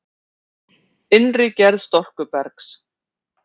Innri gerð storkubergs